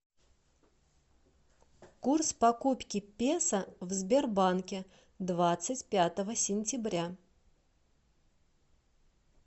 курс покупки песо в сбербанке двадцать пятого сентября